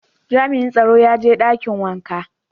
Jami'in tsaron ya je dakin wanka.